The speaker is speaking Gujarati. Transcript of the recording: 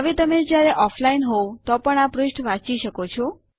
હવે તમે જયારે ઑફલાઇન હોઉં તો પણ આ પૃષ્ઠ વાંચી શકો છો